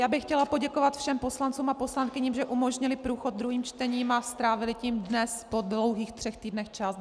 Já bych chtěla poděkovat všem poslancům a poslankyním, že umožnili průchod druhým čtením a strávili tím dnes po dlouhých třech týdnech čas.